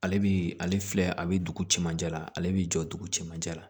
Ale bi ale filɛ a bi dugu cɛmancɛ la ale bi jɔ dugu cɛmancɛ la